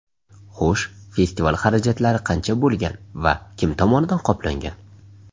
Xo‘sh, festival xarajatlari qancha bo‘lgan va kim tomonidan qoplangan?